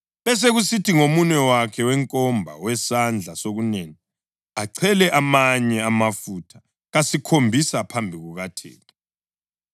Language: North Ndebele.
besekusithi ngomunwe wakhe wenkomba, owesandla sokunene achele amanye amafutha kasikhombisa phambi kukaThixo.